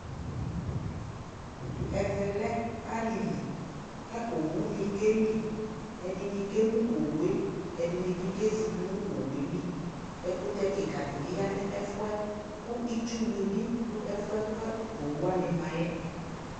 ɛvɛ lɛ alili kʋ ɔwʋ ni kɛli, ɛdini kɛkʋ ɔwʋɛ, ɛdini bi kɛzi tʋnʋ ɔwʋɛli, ɛkʋtɛ kikaa di yanʋ ɛƒʋɛ kʋ itsʋ nibi dʋ ɛƒʋɛ kʋ ɔwʋ wani maɛ